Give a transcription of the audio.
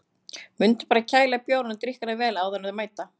Mundu bara að kæla bjórinn og drykkina vel áður en þeir mæta.